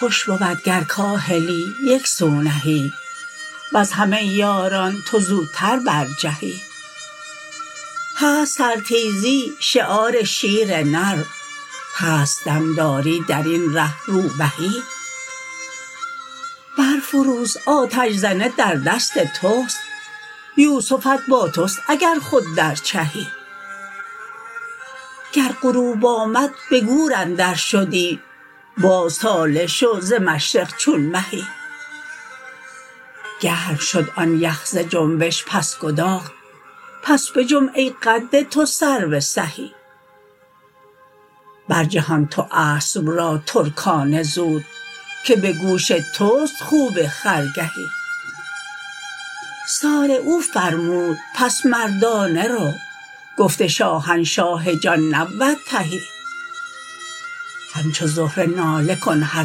خوش بود گر کاهلی یک سو نهی وز همه یاران تو زوتر برجهی هست سرتیزی شعار شیر نر هست دم داری در این ره روبهی برفروز آتش زنه در دست توست یوسفت با توست اگر خود در چهی گر غروب آمد به گور اندرشدی باز طالع شو ز مشرق چون مهی گرم شد آن یخ ز جنبش بس گداخت پس بجنب ای قد تو سرو سهی برجهان تو اسب را ترکانه زود که به گوش توست خوب خرگهی سارعوا فرمود پس مردانه رو گفت شاهنشاه جان نبود تهی همچو زهره ناله کن هر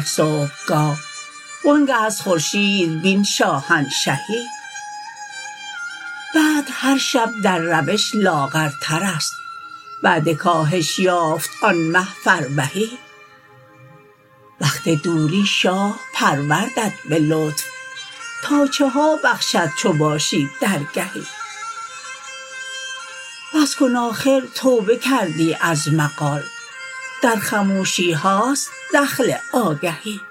صبحگاه وآنگه از خورشید بین شاهنشهی بدر هر شب در روش لاغرتر است بعد کاهش یافت آن مه فربهی وقت دوری شاه پروردت به لطف تا چه ها بخشد چو باشی درگهی بس کن آخر توبه کردی از مقال در خموشی هاست دخل آگهی